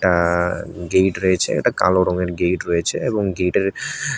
আ gate রয়েছে একটা কালো রঙের গেট রয়েছে এবং গেটের--